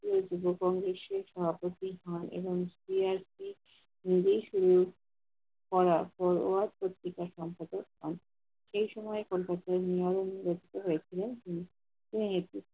সকলের জন্য কমবেশি সভাপতি হন এবং তিনি একটি নিজেই শুরু করার পর সরাস পত্রিকার সম্পাদক হন । সেসময় কলকাতায় নিয়ম বর্তীত হয়েছিল যে তিনি একটি